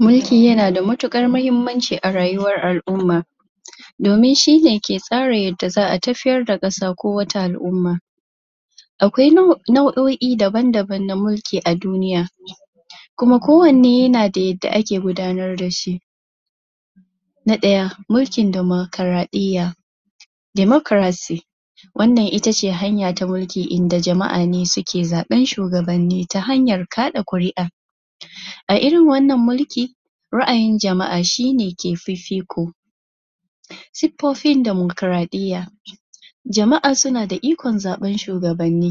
Mulki yana da matuƙatar muhimmanci a rayuwar al'umma domin shi ne ke tsara yadda za a tafiyar da ƙasa ko wata al'umma akwai nau'o'i na na mulki daban-daban a duniya kuma kowanne yana da yadda ake gudanar da shi na ɗaya mulkin damaƙwaraɗiyya (democracy) wannan ita ce hanya ta mulki inda jama'a ne suke zaɓar shuwagabanni ta hanyar kaɗa ƙuri'a a irin wannan mulki ra'ayin jama'a shi ne ke fifiko siffofin damakwaraɗiya jama'a suna da ikon zaɓar shuwagabanni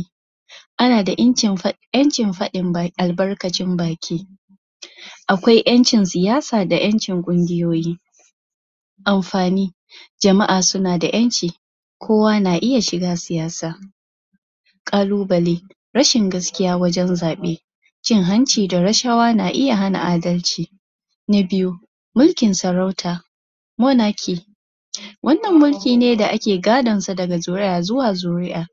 ana da 'yancin faɗin albarkacin baki akwai 'yancin siyasa da 'yancin ƙungiyoyi amfani jama'a suna da 'yanci kowa na iya shiga siyasa ƙalubale rashin gaskiya wajen zaɓa cin hanci da rashawa na iya hana adalci na biyu mulkin sarauta (monarchy) wannan mulkin ne da ake gadansa daga zuriya zuwa zuriya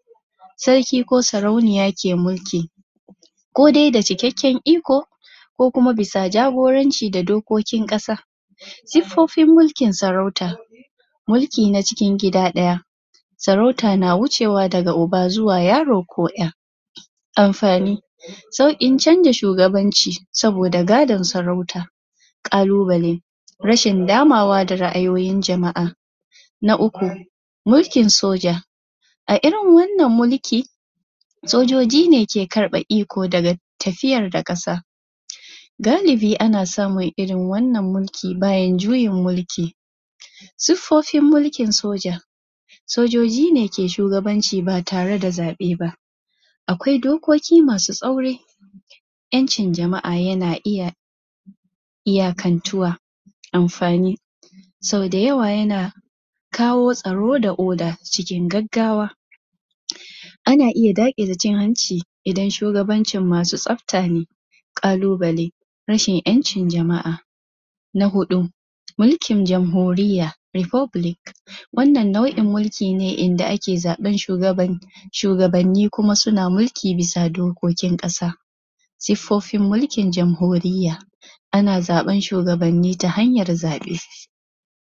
sarki ko sarauniya ke mulki kodai da cikakken iko ko kuma bisa jagoranci da dokokin ƙasa siffofin mulkin sarauta mulki na cikin gida ɗaya sarauta na wucewa daga uba zuwa yaro ko 'ya amfani sauƙin canja shugabanci saboda gadan sarauta ƙalubale rashin damawa da ra'ayoyin jama'a na uku mulkin soja a irin wannan mulki sojoji ne ke karɓe iko daga tafiyar da ƙasa galibi ana samun irin wannan mulki bayan juyin mulki siffofin mulkin soja sojoji ne ke shugsbanci ba tare da zaɓa ba akwai dokoki masu tsauri 'yancin jama'a yana iya iyakantuwa amfani sau da yawa yana kawo tsaro da oda cikin gaggawa ana iya daƙile cin hanci idan shugabancin masu tsabta ne ƙalubale rashin 'yancin jama'a na huɗu mulkin janhuriyya (republic) wannan nau'in mulki ne inda ake zaɓar shugabanni shugabanni kuma suna mulki bisa dokokin ƙasa siffofin mulkin janhuriyya ana zaɓar suwagabanni ta hanyar zaɓe